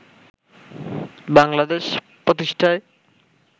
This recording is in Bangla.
বাংলাদেশ প্রতিষ্ঠায়